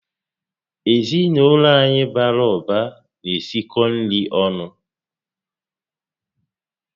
Ezinaụlọ anyị bàrà ụba na-esikọ nri ọnụ